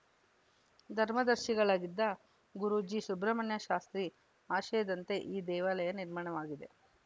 ಧರ್ಮದರ್ಶಿಗಳಾಗಿದ್ದ ಗುರೂಜಿ ಸುಬ್ರಹ್ಮಣ್ಯ ಶಾಸ್ತ್ರಿ ಆಶಯದಂತೆ ಈ ದೇವಾಲಯ ನಿರ್ಮಾಣವಾಗಿದೆ